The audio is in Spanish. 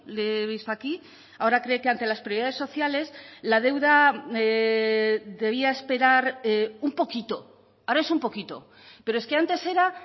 le he visto aquí ahora cree que ante las prioridades sociales la deuda debía esperar un poquito ahora es un poquito pero es que antes era